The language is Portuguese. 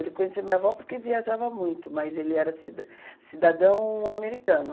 Ele conheceu minha avó porque viajava muito, mas ele era cida cidadão americano.